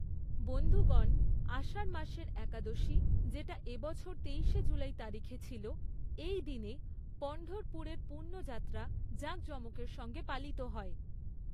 বন্ধুগণ, আষাঢ় মাসের একাদশী, যেটা এবছর তেইশে জুলাই তারিখে ছিল, এই দিনে পণ্ঢরপুরের পুণ্যযাত্রা জাঁকজমকের সঙ্গে পালিত হয়।